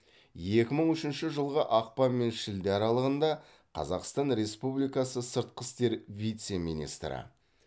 екі мың үшінші жылғы ақпан мен шілде аралығында қазақстан республикасы сыртқы істер вице министрі